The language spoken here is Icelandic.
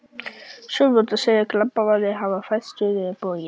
Sjónarvottar segja, að glamparnir hafi færst suður á bóginn.